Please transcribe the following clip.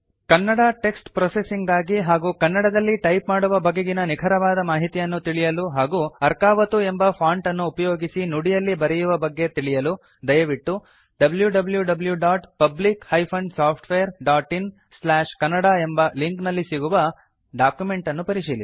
Kannada text processing ಗಾಗಿ ಹಾಗೂ ಕನ್ನಡದಲ್ಲಿ ಟೈಪ್ ಮಾಡುವ ಬಗೆಗಿನ ನಿಖರವಾದ ಮಾಹಿತಿಯನ್ನು ತಿಳಿಯಲು ಹಾಗೂ ಅರ್ಕಾವತು ಎಂಬ ಫಾಂಟ್ ಅನ್ನು ಉಪಯೋಗಿಸಿ ನುಡಿಯಲ್ಲಿ ಬರೆಯುವ ಬಗ್ಗೆ ತಿಳಿಯಲು ದಯವಿಟ್ಟು wwwPublic SoftwareinKannada ಎಂಬ ಲಿಂಕ್ ನಲ್ಲಿ ಸಿಗುವ ಡಾಕ್ಯುಮೆಂಟ್ ಅನ್ನು ಪರಿಶೀಲಿಸಿ